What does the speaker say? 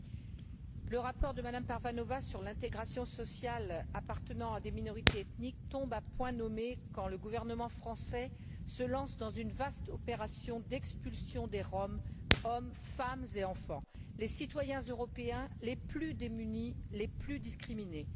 Madame la Présidente, le rapport de Mme Parvanova sur l'intégration sociale des femmes appartenant à des minorités ethniques tombe à point nommé quand le gouvernement français se lance dans une vaste opération d'expulsion des Roms hommes, femmes et enfants les citoyens européens les plus démunis, les plus discriminés.